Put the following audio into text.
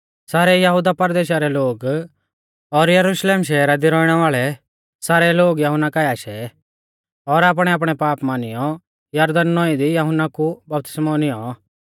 सारै यहुदा परदेशा रै लोग और यरुशलेम शहरा दी रौइणै वाल़ै सारै लोग यहुन्ना काऐ आशै और आपणैआपणै पाप मानियौ यरदन नौईं दी यहुन्ना कु बपतिस्मौ नियौं